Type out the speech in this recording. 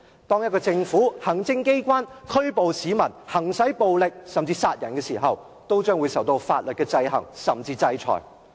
當行政機關無理拘捕市民、行使暴力，甚至殺人，都將會受法律的制衡或制裁。